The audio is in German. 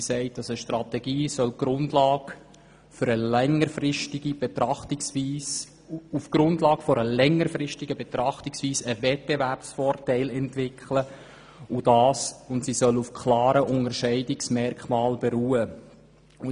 Eine Strategie soll auf der Grundlage einer längerfristigen Betrachtungsweise einen Wettbewerbsvorteil entwickeln, und sie soll auf klaren Unterscheidungsmerkmalen beruhen.